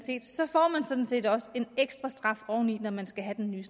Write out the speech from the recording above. sådan set også en ekstra straf oveni når man skal have den nye